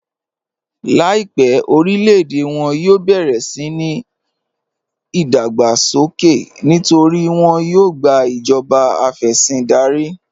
Láìpẹ̀ orílẹ̀-èdè wọn yóò bẹ̀rẹ̀ síni ìdágbàsókè nítorí wọn yóò gbà ìjọba afẹ̀sìndárí.